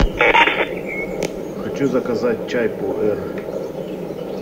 хочу заказать чай пуэр